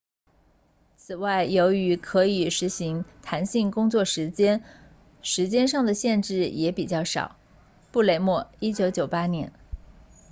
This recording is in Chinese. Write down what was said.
此外由于可以实行弹性工作时间时间上的限制也比较少布雷默1998年